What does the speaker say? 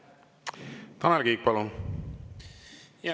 Tanel Kiik, palun!